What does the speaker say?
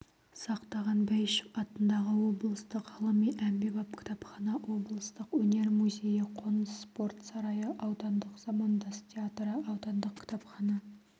сақтаған бәйішев атындағы облыстық ғылыми-әмбебап кітапхана облыстық өнер музейі қоныс спорт сарайы аудандық замандас театры аудандық кітапхана